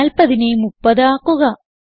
40നെ 30 ആക്കാം